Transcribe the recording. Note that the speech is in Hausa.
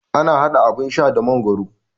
Ana haɗa abun sha da magoro